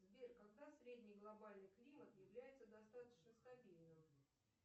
сбер когда средний глобальный климат является достаточно стабильным